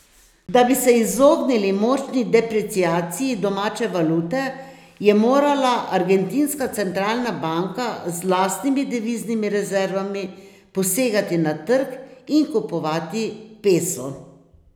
Da bi se izognili močni depreciaciji domače valute, je morala argentinska centralna banka z lastnimi deviznimi rezervami posegati na trg in kupovati peso.